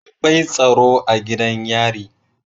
Akwai tsaro a gidan yari